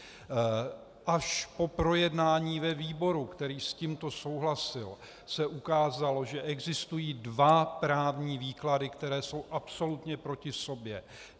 Až po projednání ve výboru, který s tímto souhlasil, se ukázalo, že existují dva právní výklady, které jsou absolutně proti sobě.